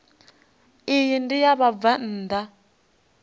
iyi ndi ya vhabvann ḓa